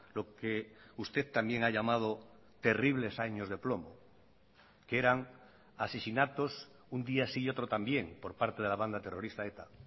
lo que usted también ha llamado terribles años de plomo que eran asesinatos un día sí y otro también por parte de la banda terrorista eta